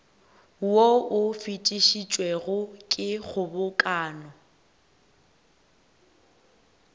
wo o fetišitšwego ke kgobokano